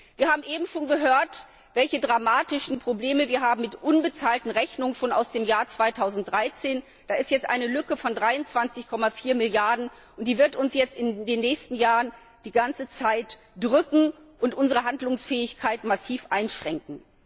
Wir haben eben schon gehört, welche dramatischen Probleme wir mit unbezahlten Rechnungen aus dem Jahr 2013 haben. Da ist jetzt eine Lücke von 23,4Milliarden Euro, und die wird uns in den nächsten Jahren die ganze Zeit drücken und unsere Handlungsfähigkeit massiv einschränken.